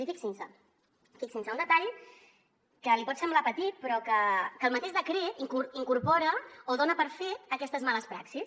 i fixin se fixin se un detall que li pot semblar petit però que el mateix decret incorpora o dona per fet aquestes males praxis